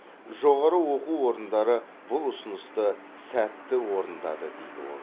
жоғары оқу орындары бұл ұсынысты сәтті орындады дейді ол